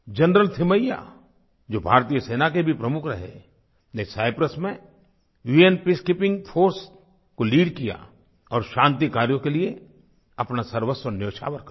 general Thimayya जो भारतीय सेना के भी प्रमुख रहे ने साइप्रस में उन पीसकीपिंग फोर्स को लीड किया और शांति कार्यों के लिए अपना सर्वस्व न्योछावर कर दिया